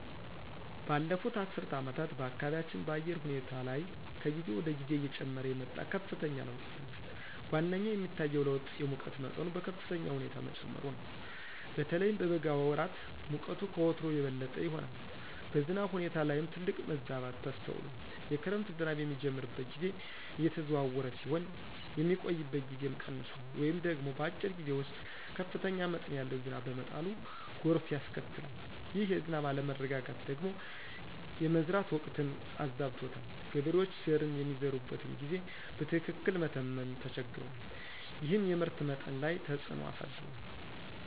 ባለፉት አስርት ዓመታት በአካባቢያችን በአየር ሁኔታ ላይ ከጊዜ ወደ ጊዜ እየጨመረ የመጣ ከፍተኛ ለውጥ ይታያል። ዋነኛው የሚታየው ለውጥ የሙቀት መጠኑ በከፍተኛ ሁኔታ መጨመሩ ነው። በተለይም በበጋ ወራት ሙቀቱ ከወትሮው የበለጠ ይሆናል። በዝናብ ሁኔታ ላይም ትልቅ መዛባት ተስተውሏል። የክረምት ዝናብ የሚጀምርበት ጊዜ እየተዘዋወረ ሲሆን፣ የሚቆይበት ጊዜም ቀንሷል ወይም ደግሞ በአጭር ጊዜ ውስጥ ከፍተኛ መጠን ያለው ዝናብ በመጣሉ ጎርፍ ያስከትላል። ይህ የዝናብ አለመረጋጋት ደግሞ የመዝራት ወቅትን አዛብቶታል። ገበሬዎች ዘርን የሚዘሩበትን ጊዜ በትክክል መተመን ተቸግረዋል፤ ይህም የምርት መጠን ላይ ተፅዕኖ አሳድሯል።